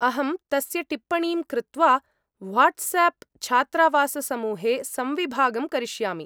अहं तस्य टिप्पणीं कृत्वा व्हाट्सएप् छात्रावाससमूहे संविभागं करिष्यामि।